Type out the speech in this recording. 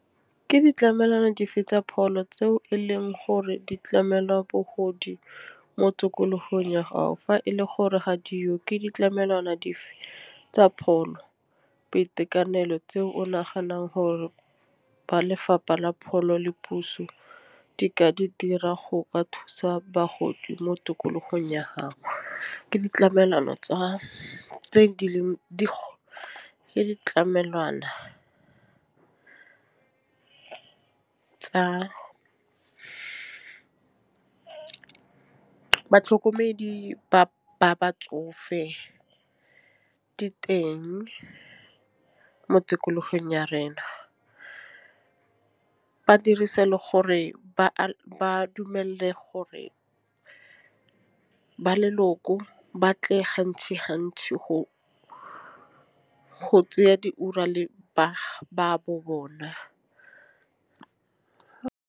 Ke ditlamelwana dife tsa pholo, tseo e leng gore di tlamelwa bogodi mo tokologo eng ya gago fa e le gore ga diyo ke ditlamelwana tsa pholo boitekanelo tse o naganang gore ba Lefapha la Pholo le Puso di ka di dira go ka thusa bagodi mo tikologong ya gago. Ke ditlamelwana tsa tse di leng ke ditlamelwana, tsa batlhokomedi ba batsofe diteng mo tikologong ya rena, ba dirise le gore ba dumele gore ba leloko ba tle gantsi gantsi go tseya diora le baagi ba bo bona.